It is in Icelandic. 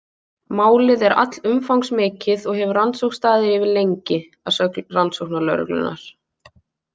Málið er allumfangsmikið og hefur rannsókn staðið yfir lengi, að sögn rannsóknarlögreglunnar.